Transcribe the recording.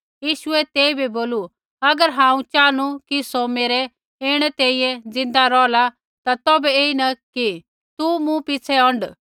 यीशुऐ तेइबै बोलू अगर हांऊँ चाहनु कि सौ मेरै ऐणै तैंईंयैं ज़िन्दा रौहला ता तौभै ऐईन कि तू मूँ पिछ़ै औंढ